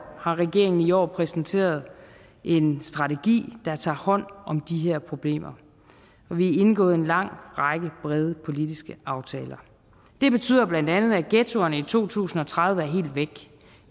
har regeringen i år præsenteret en strategi der tager hånd om de her problemer vi indgået en lang række brede politiske aftaler det betyder bla at ghettoerne i to tusind og tredive er helt væk